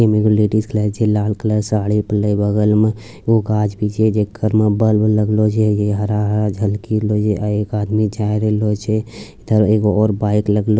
इ में एगो लेडिस के लागे छै लाल कलर साड़ी पिहिनले बगल में जे घर में बल्ब लगलो छै हरा-हरा झलकी रहलो छै आ एक आदमी जाय रहलो छै इधर एक बाइक --